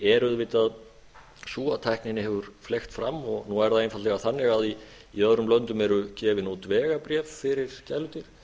er auðvitað sú að tækninni hefur fleygt fram nú er það einfaldlega þannig að í öðrum löndum eru gefin út vegabréf fyrir gæludýr